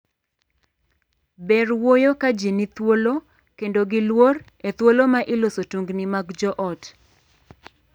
Ber wuoyo ka jii ni thuolo kendo gi luor e thuolo ma iloso tungni mag joot.